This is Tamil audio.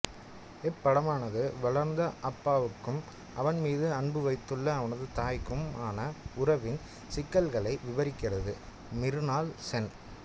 இப்படமானது வளர்ந்த அப்புவுக்கும் அவன் மீது அன்பு வைத்துள்ள அவனது தாய்க்கும் ஆன உறவின் சிக்கல்களை விபரிக்கிறது மிருனால் சென்